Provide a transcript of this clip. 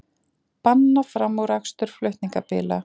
Banna framúrakstur flutningabíla